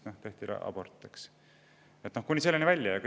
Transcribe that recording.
Kuni selliste välja!